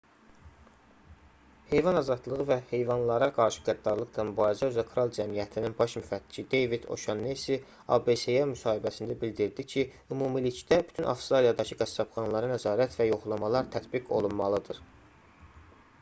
heyvan azadlığı və heyvanlara qarşı qəddarlıqla mübarizə üzrə kral cəmiyyətinin rspca baş müfəttişi deyvid o'şannesi abc-yə müsahibəsində bildirdi ki ümumilikdə bütün avstraliyadakı qəssabxanalara nəzarət və yoxlamalar tətbiq olunmalıdır